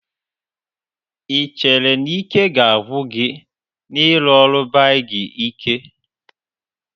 Ị chere na ike ga-agwụ gị n'ịrụ ọrụ beibg ike.